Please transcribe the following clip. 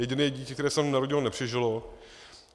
Jediné dítě, které se tam narodilo, nepřežilo.